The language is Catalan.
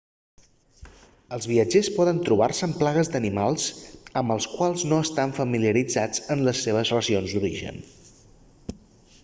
el viatgers poden trobar-se amb plagues d'animals amb els quals no estan familiaritzats en les seves regions d'origen